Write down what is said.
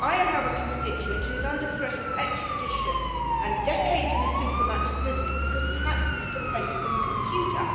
I have a constituent who is under threat of extradition and decades in a supermax prison because he hacked into the Pentagon computer.